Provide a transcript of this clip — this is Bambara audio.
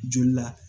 Joli la